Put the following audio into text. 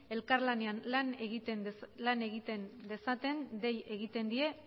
elkar lanean lan egiten dezaten dei egiten die